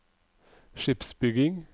skipsbygging